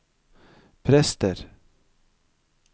prester